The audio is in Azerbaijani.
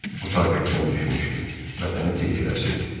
O taqətdən düşmüşdü, bədəni tir-tir əsirdi.